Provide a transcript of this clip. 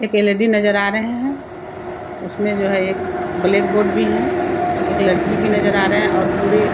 एक एल.ई.डी. नजर आ रहें हैं। उसमें जो है एक ब्लैकबोर्ड भी है। एक लड़की भी नजर आ रहें हैं और पुरे --